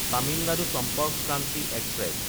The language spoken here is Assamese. তামিলনাডু চম্পৰ্ক ক্ৰান্তি এক্সপ্ৰেছ